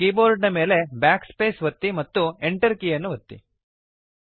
ನಿಮ್ಮ ಕೀಬೋರ್ಡ್ ನ ಮೇಲೆ Backspace ಒತ್ತಿರಿ ಮತ್ತು Enter ಕೀ ಅನ್ನು ಒತ್ತಿ